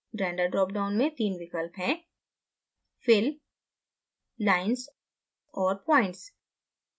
render drop down में तीन विकल्प हैं fill lines और points